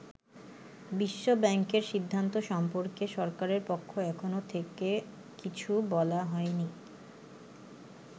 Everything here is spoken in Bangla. বিশ্ব ব্যাংকের সিদ্ধান্ত সম্পর্কে সরকারের পক্ষ এখনো থেকে কিছু বলা হয়নি।